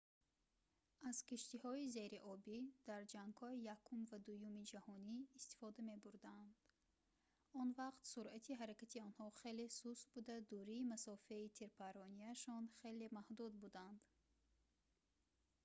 аз киштиҳои зериобӣ дар ҷангҳои якум ва дуюми ҷаҳонӣ истифода мебурданд он вақт суръати ҳаракати онҳо хеле суст буда дурии масофаи тирпарронияшон хеле маҳдуд буданд